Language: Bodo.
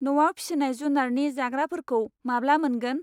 न'आव फिसिनाय जुनारनि जाग्राफोरखौ माब्ला मोनगोन?